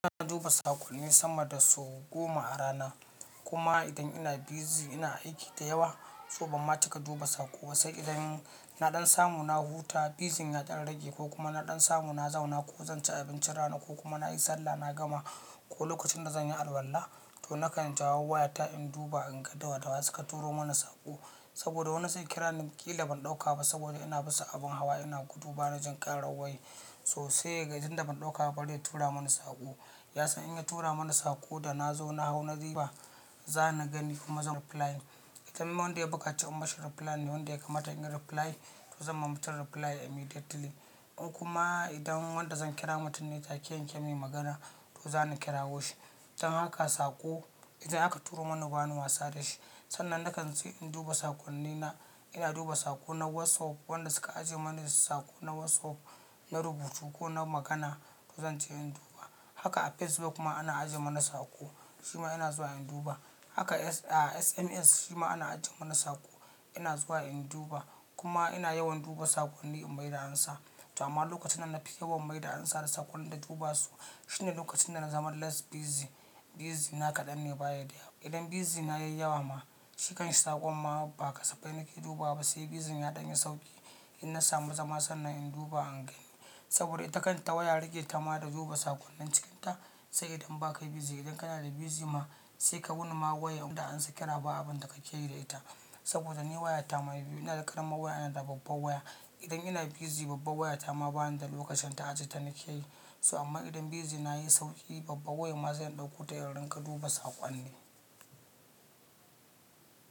Ina duba saƙonni sama da sau goma a rana. Kuma idan ina busy ina aiki da yawa, tsoban ma cika duba saƙo. Sai idan na ɗan samu na huta, busy n ya ɗan rage ko kuma na ɗan samu na zauna ko zan ci abincin rana ko kuma na yi sallah na gama ko lokacin na zan yi alwalla, to na kan jawo wayata in duba in ga dawadawa suka turo mana saƙo. Saboda wani zai kira niƙila ban ɗauka ba saboda ina bisa abin hawa ina gudu bana jin ƙarar waya sosai. Ga idan ban ɗauka ba riya tura mini saƙo. Ya san in ya tura mana saƙo da na zo na hau na zuba, za ni gani kuma zan reply. Idan kuma wanda ya bukaci in mashi reply ne wanda ya kamata in reply, to zan ma mutum reply immediately. In kuma idan wanda zan kira mutum ne ta keyan kezan me magana, to za ni kirawo shi. Don haka saƙo idan aka turo mana ba ni wasa da shi. Sannan na kan tsi in duba saƙonnina. Ina duba saƙo na WhatsApp, wanda suka ajiye mani saƙo na WhatsApp na rubutu ko na magana, to zan je in duba. Haka a Facebook kuma ana ajiye mana saƙo, shima ina zuwa in duba. Haka a SMS shima ana ajiye mana saƙo, ina zuwa in duba. Kuma ina yawan duba saƙonni in bai da ansa. To amma lokacin da na fi yawan mai da ansa da saƙonnin da duba su shine lokacin da na zama less busy. Busy na kaɗan ne baya da yawa. Idan busy na yayi yawa ma, shi kan shisa konma ba kasaffaina ke dubawa ba. Sai busy na ya ɗan yi sauƙi, in na samu zama sannan in duba anganyi. Saboda ita kan ta waya rike ta ma da duba saƙonnin cikinta. Sai idan ba ka yi busy. Idan kana da busy ma sai ka wuni ma waya bata an saki raba abin da ka ke yi da ita. Saboda ni wayata ma biyu ina da ƙaramar waya ina da babbar waya. Idan ina busy babbar waya ta ma ba ni da lokacin ta ajiye ta na keyi. So amma idan busy na yayi sauƙi, babbar wayan ma zan ɗauko ta in rinƙa duba saƙonni.